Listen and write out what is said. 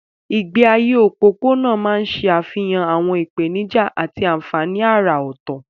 Ìgbé ayé òpópónà máa ń ṣe àfihàn àwọn ìpèníjà àti àfààní àrà ọ̀tọ̀.